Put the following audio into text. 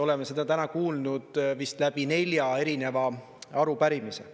Oleme seda täna kuulnud vist läbi nelja erineva arupärimise.